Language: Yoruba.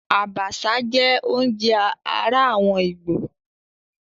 Àbàṣà jẹ́ oúnjẹ ará àwọn ìgbò.